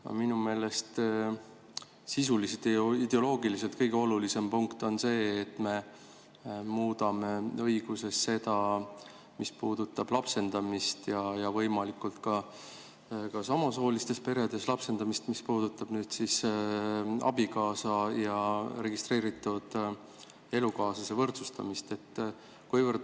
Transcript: Aga minu meelest sisuliselt ja ideoloogiliselt kõige olulisem punkt on see, et me muudame õiguses seda, mis puudutab lapsendamist ja ka samasoolistes peredes lapsendamist, mis on seotud abikaasa ja registreeritud elukaaslase võrdsustamisega.